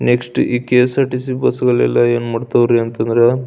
Next ಈ KSRTC ಬಸ್ಗಳೆಲ್ಲ ಏನ್ ಮಾಡ್ತಾವ್ ರೀ ಅಂತ ಅಂದ್ರೆ --